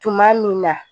Tuma min na